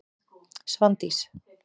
Svandís